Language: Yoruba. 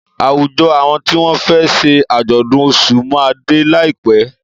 Àwùjọ awọn tí wọn fẹ ṣe àjọ̀dún Ọ̀ṣun ma dé láìpẹ́